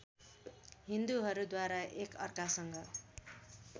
हिन्दूहरूद्वारा एक अर्कासँग